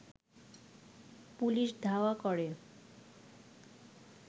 police ধাওয়া করে